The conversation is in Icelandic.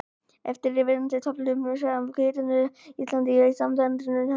Á eftirfarandi töflu má sjá hvítuneyslu Íslendinga í samanburði við nokkur útlönd.